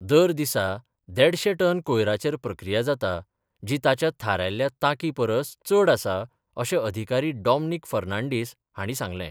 दर दिसा देडशें टन कोयराचेर प्रक्रिया जाता जी ताच्या थारायल्ल्या तांकी परस चड आसा अशें अधिकारी डॉमनीक फर्नांडिस हांणी सांगलें.